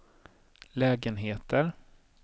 lägenheter